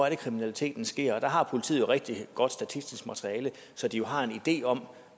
er kriminaliteten sker og der har politiet rigtig godt statistisk materiale så de har en idé om